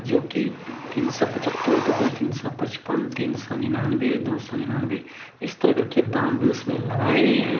जो की तीन सौ पचहत्तर तो कोई तीन सौ पचपन तीन सौ निन्नानाबे दो सौ निन्नानबे इस तरह करके दाम इसमें लगाए गए हैं।